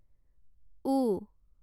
ও